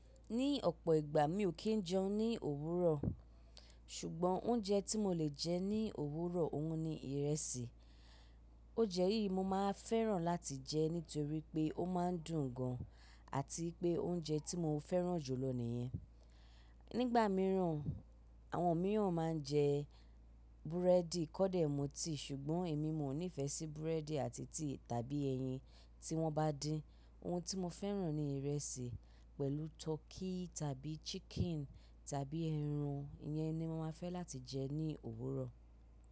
Ní ọ̀pọ̀ ìgbà mi ò kí ń jẹun ní òwúrọ̀, ṣùgbọ́n oúnjẹ tí mo lè jẹ ní òwúrọ̀ òun ni ìrẹsì. Óunjẹ́ yí mo máa fẹ́ràn láti jẹ nítorí pé ó máa ń dùn gan an ati pé oúnjẹ tí mo fẹ́ràn jù lọ nìyẹn. Nígbà mìíràn, àwọn mìíràn má n jẹ búrẹ́dì kọ́dẹ̀ mu tea, ṣùgbọ́n èmi mo nífẹ̀ẹ́ sí búrẹ́dì àti tea tàbí ẹyin tí wọ́n bá din. Ohun tí mo fẹ́ràn ni ìrẹsì pẹ̀lú tọ́kí tàbí chicken tàbí ẹran. Iyẹn ni mo máa fẹ́ láti jẹ ní òwúrọ̀.